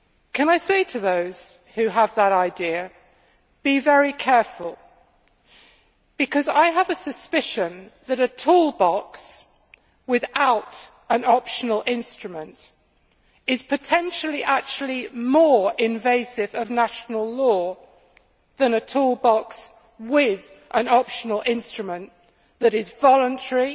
Can I say to those who have that idea, be very careful, because I have a suspicion that a toolbox without an optional instrument is potentially actually more invasive of national law than a toolbox with an optional instrument that is voluntary,